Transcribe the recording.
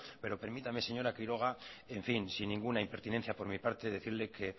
pero permítame señora quiroga en fin sin ninguna impertinencia por mi parte decirle que